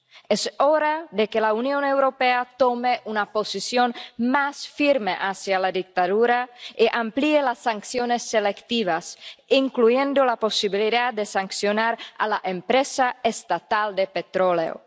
Es hora de que la Unión Europea tome una posición más firme contra la dictadura y amplíe las sanciones selectivas, incluyendo la posibilidad de sancionar a la empresa estatal de petróleo.